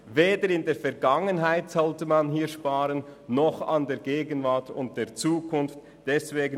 Weder in der Vergangenheit noch in der Gegenwart und der Zukunft sollte man daran sparen.